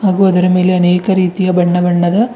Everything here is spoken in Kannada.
ಹಾಗೂ ಅದರ ಮೇಲೆ ಅನೇಕ ರೀತಿಯ ಬಣ್ಣ ಬಣ್ಣದ--